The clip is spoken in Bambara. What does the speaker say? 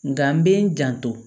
Nka n bɛ n janto